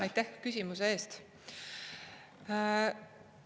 Aitäh küsimuse eest!